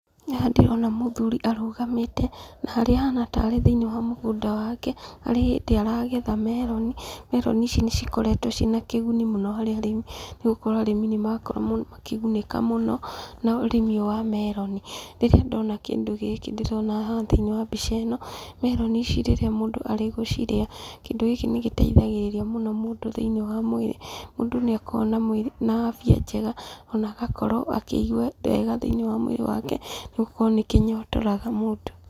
Haha ndĩrona mũthuri arũgamĩte, na harĩa ahana tarĩ thĩinĩ wa mũgũnda wake, tarĩ hĩndĩ aragetha meroni, meroni ici nĩ cikoretwo ciĩna kĩguni mũno harĩ arĩmi, nĩgũkorwo arĩmi nĩmarakorwo makĩgunĩka mũno na ũrĩmi ũyũ wa meroni. Rĩrĩa ndona kĩndũ gĩkĩ ndĩrona haha thĩinĩ wa mbica ĩno, meroni ici rĩrĩa mũndũ arĩgũcirĩa, kĩndũ gĩkĩ nĩ gĩteithagĩrĩria mũno mũndũ thĩinĩ wa mwĩrĩ, mũndũ nĩ akoragwo na mwĩrĩ na afya njega, ona agakorwo akĩigwa wega thĩinĩ wake, nĩgũkorwo nĩ kĩnyotoraga mũndũ.